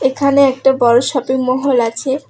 এখানে একটা বড় শপিং মহল আছে।